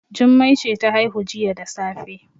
Jummai ce ta haihu jiya da safe